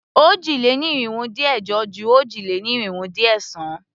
Òjì-lé-ní-irinwó-dín-ẹ̀jọ ju òjì-lé-ní-irinwó-dín-ẹ̀sán.